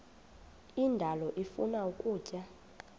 indalo ifuna ukutya